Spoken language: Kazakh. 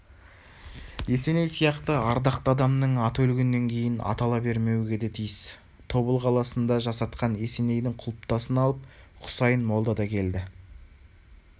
есеней сияқты ардақты адамның аты өлгеннен кейін атала бермеуге де тиіс тобыл қаласында жасатқан есенейдің құлпытасын алып хұсайын молда да келді